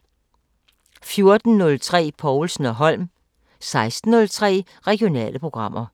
14:03: Povlsen & Holm 16:03: Regionale programmer